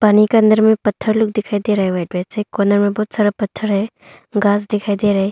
पानी के अंदर में पत्थर लोग दिखाई दे रहा है कोना में बहुत सारा पत्थर है घास दिखाई दे रहा है।